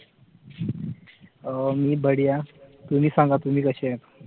मी बढिया तुम्ही सांगा तुम्ही कसे आहेत